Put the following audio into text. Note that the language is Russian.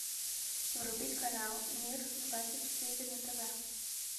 вруби канал мир двадцать четыре на тв